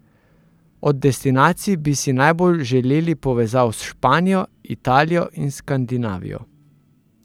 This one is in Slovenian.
Od destinacij bi si najbolj želeli povezav s Španijo, Italijo in Skandinavijo.